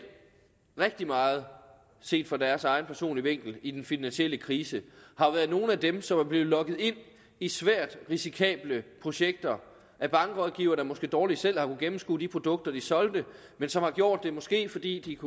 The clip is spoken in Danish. rigtig meget set fra deres egen personlige vinkel i den finansielle krise har været nogle af dem som er blevet lokket ind i svært risikable projekter af bankrådgivere der måske dårligt selv har kunnet gennemskue de produkter de solgte men som har gjort det måske fordi de